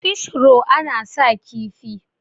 fish ro ana sa kifi